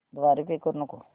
द्वारे पे करू नको